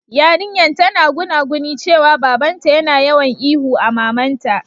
Yarinyan tana gunaguni cewa baba'n ta yana yawan ihu a mamanta.